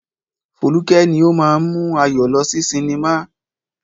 Foluke ni ó máa ń mú Ayọ̀ lọ sí cinema.